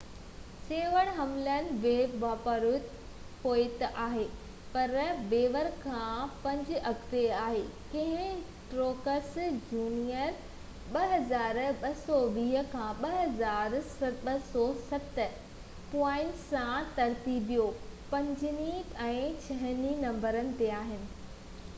ٽيون هيملن ويهه پوائنٽو پوئتي آهي پر بوير کان پنج اڳتي آهي ڪهني ۽ ٽروڪس جونيئر 2,220 ۽ 2,207 پوائنٽن سان ترتيبوار پنجين ۽ ڇهين نمبر تي آهن